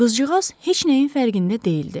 Qızcığaz heç nəyin fərqində deyildi.